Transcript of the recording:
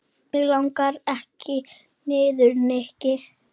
Mig langar ekki niður, Nikki.